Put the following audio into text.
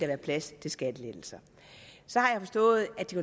være plads til skattelettelser så har jeg forstået at de